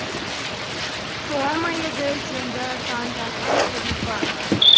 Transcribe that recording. солай ма еді деді таңданған күлипа